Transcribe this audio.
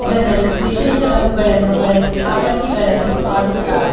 ಜನರು ವಿಶೇಷ ರಂಗುಗಳನ್ನು ಬಳಸಿ ಅಪಾಟಿಗಳನ್ನು ಆಡುತ್ತಾರೆ.